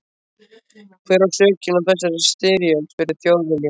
Hver á sökina á þessari styrjöld? spurði Þjóðviljinn.